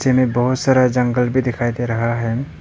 मे बहोत सारा जंगल भी दिखाई दे रहा है।